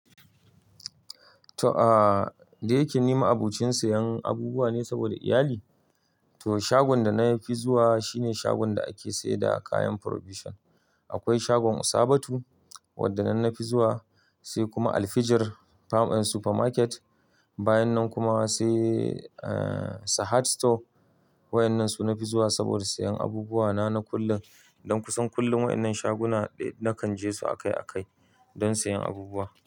To aa, dayi ke ni ma'abocin siyan abubuwa ne saboda iyali. Toh shagon da na fi zuwa shine shagon da ake siyar da kayan Provision. Akwai shagon Usabatu wanda nan nafi zuwa, sai kuma Al Fijir Supermarket, bayan nan kuma se eh Sahad. Store. Wadannan su na fi zuwa saboda siyan abubuwa na, na kullum. Don kusan kullum wadannan shaguna ɗai na kan je su akai akai don siyan abubuwa.